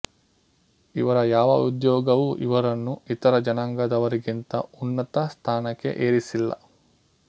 ಇವರ ಯಾವ ಉದ್ಯೋಗವು ಇವರನ್ನು ಇತರ ಜನಾಂಗದವರಿಗಿಂತ ಉನ್ನತ ಸ್ಥಾನಕ್ಕೆ ಏರಿಸಿಲ್ಲ